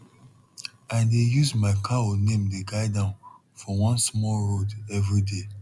i dey use my cow name dey guide am for one small road every day